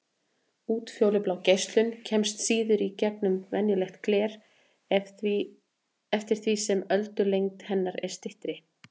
Útfjólublá geislun kemst síður í gegnum venjulegt gler eftir því sem öldulengd hennar er styttri.